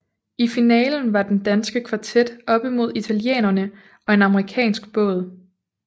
I finalen var den danske kvartet oppe mod italienerne og en amerikansk båd